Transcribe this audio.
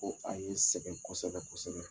Ko a ye sɛgɛn kosɛbɛ kosɛbɛ